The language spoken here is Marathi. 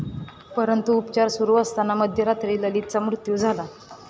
परंतु, उपचार सुरू असताना मध्यरात्री ललितचा मृत्यू झाला.